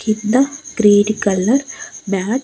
కింద green colour mat .